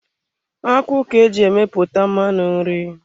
Akwụ ka eji emepụta mmanụ nri.